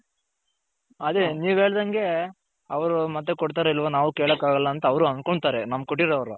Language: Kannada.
ಅದೇ ನೀವು ಹೇಳ್ದಂಗೆ ಅವರು ಮತ್ತೆ ಕೊಡ್ತಾರೋ ಇಲ್ಲವೋ ನಾವು ಕೆಲ್ಲಕ್ ಆಗಲ್ಲ ಅಂತ ಅವರು ಅಂದ್ಕೊಂಡ್ತಾರೆ ನಾವು ಕೊಟ್ಟಿರೋರು.